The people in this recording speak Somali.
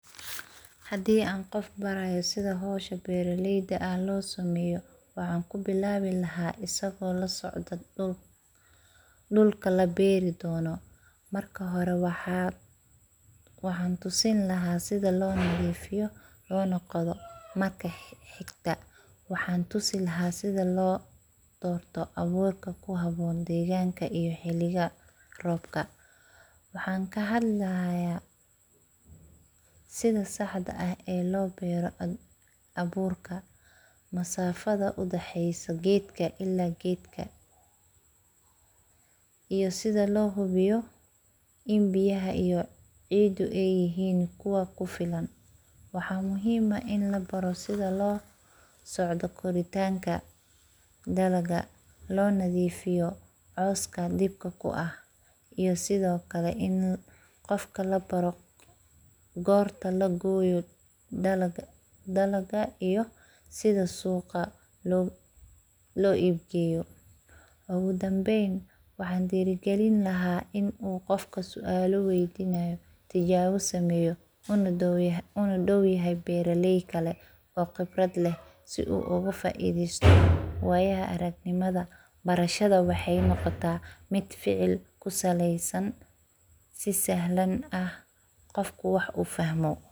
Hadi an qof barayo si howsha beraleyda ah lo sameyo , waxan ku bilawi laha asago lasocda dhul, dhulka laberi dono marka hore waxan tusin laha sidha loo nadifiyo lona qodo ,kabacdi waxan tusi sidha lo donrto aburka xiliga robka. Waxan ka hadli haya sidha saxda ah ee lo bero aburka masafada u dhaheyso gedka ila gedka. Iyo sidha lo hubiyo in biyaha iyo cida ay yihin kuwa ku filan mxa muhim ini labaro sidha loo socdo qiditanka dalaga lo nadifiyo cawska lidka ku ah iyo sidhokale ini qofka labaro gorta lagoyo dalaga iyo sidha suqa loo iib geyo. Ugu danbeyn waxan dhira gelin laha inu qofka sualo weydinaya tijabo sameyo una dhaw yahay beraley kale oo khibrad leh si u uga faideysto wayaha aragnimada barashada waxey noqota mid ficil kusaleysan, si sahlan ah qofka wax u fahmo.